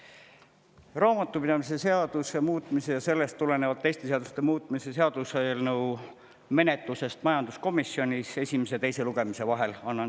Annan ülevaate raamatupidamise seaduse muutmise ja sellest tulenevalt teiste seaduste muutmise seaduse eelnõu menetlusest majanduskomisjonis esimese ja teise lugemise vahel.